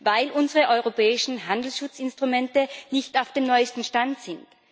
weil unsere europäischen Handelsschutzinstrumente nicht auf dem neuesten Stand sind?